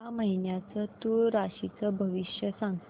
या महिन्याचं तूळ राशीचं भविष्य सांग